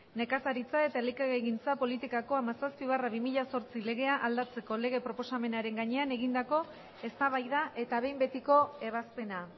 nekazaritza eta elikagaigintza politikako hamazazpi barra bi mila zortzi legea aldatzeko lege proposamenaren gainean egindakoa eztabaida eta behin betiko ebazpena